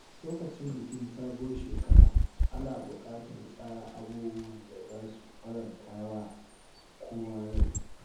Lokacin bikin sabuwar shekara, ana buƙatar tsara abubuwan da za su faranta wa kowa rai.